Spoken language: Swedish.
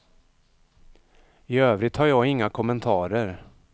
I övrigt har jag inga kommentarer.